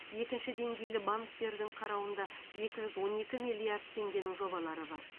екінші деңгейлі банктердің қарауында екі жүз он екі миллиард теңгенің жобалары бар